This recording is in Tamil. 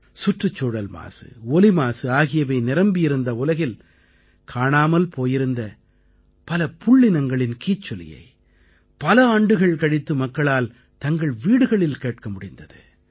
சுற்றுச்சூழல் மாசு ஒலிமாசு ஆகியவை நிரம்பியிருந்த உலகில் காணாமல் போயிருந்த பல புள்ளினங்களின் கீச்சொலியை பல ஆண்டுகள் கழித்து மக்களால் தங்கள் வீடுகளில் கேட்க முடிந்தது